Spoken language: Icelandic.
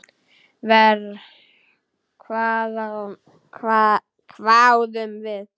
Verr, hváðum við.